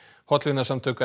hollvinasamtök